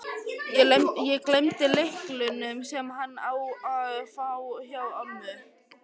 Ég gleymdi lyklunum, sem hann á að fá, hjá ömmu.